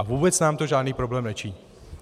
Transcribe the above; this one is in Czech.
A vůbec nám to žádný problém nečiní.